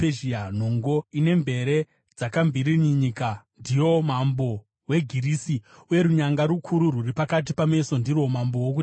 Nhongo ine mvere dzakamvirimvinyika ndiyo mambo weGirisi, uye runyanga rukuru rwuri pakati pameso ndirwo mambo wokutanga.